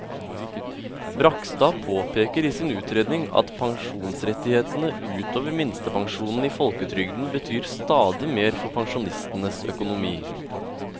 Bragstad påpeker i sin utredning at pensjonsrettighetene ut over minstepensjonen i folketrygden betyr stadig mer for pensjonistenes økonomi.